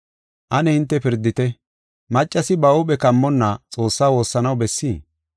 Ane hinte pirdite; maccasi ba huuphe kammonna Xoossa woossanaw bessii?